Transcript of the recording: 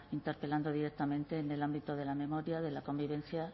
interpelando directamente en el ámbito de la memoria de la convivencia